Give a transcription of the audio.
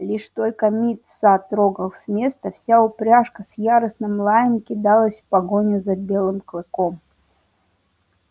лишь только мит са трогал с места вся упряжка с яростным лаем кидалась в погоню за белым клыком